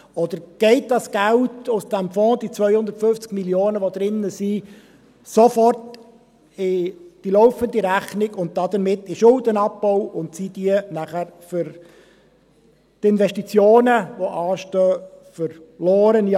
Oder geht das Geld aus diesem Fonds, diese 250 Mio. Franken, die er enthält, sofort in die laufende Rechnung über und damit in den Schuldenabbau, sodass es für die anstehen Investitionen – in Anführungszeichen – «verloren» ist?